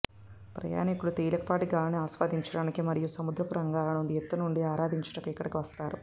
ప్రయాణికులు తేలికపాటి గాలిని ఆస్వాదించడానికి మరియు సముద్రపు తరంగాలను ఎత్తు నుండి ఆరాదించుటకు ఇక్కడకు వస్తారు